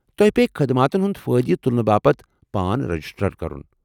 تۄہہ پیٚیہِ خٔدماتن ہُنٛد فٲیدٕ تُلنہٕ باپت پان رجسٹر کرُن ۔